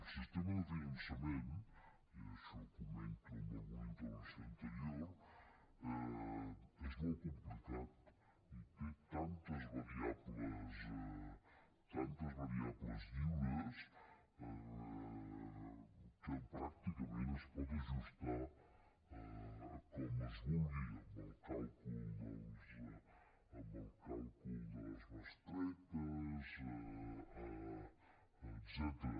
el sistema de finançament i això ho comento en alguna intervenció anterior és molt complicat i té tantes variables lliures que pràcticament es pot ajustar com es vulgui amb el càlcul de les bestretes etcètera